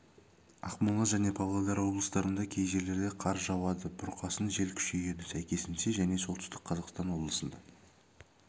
ақмола және павлодар облыстарында кей жерлерде қар жауады бұрқасын жел күшейеді сәйкесінше және солтүстік қазақстан облысында